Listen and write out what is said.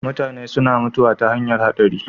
Mutane suna mutuwa ta hanyar haɗari.